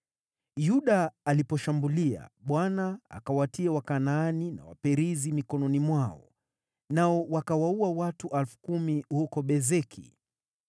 Yuda aliposhambulia, Bwana akawatia Wakanaani na Waperizi mikononi mwao, nao wakawaua watu 10,000 huko Bezeki.